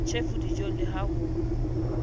tjhefu dijong le ha ho